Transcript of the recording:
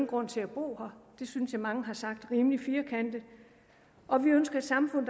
grund til at bo her det synes jeg mange har sagt rimelig firkantet og vi ønsker et samfund